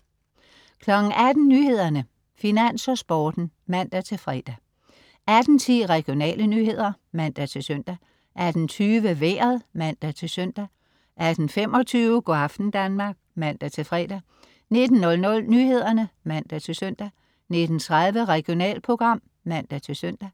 18.00 Nyhederne, Finans og Sporten (man-fre) 18.10 Regionale nyheder (man-søn) 18.20 Vejret (man-søn) 18.25 Go' aften Danmark (man-fre) 19.00 Nyhederne (man-søn) 19.30 Regionalprogram (man-søn)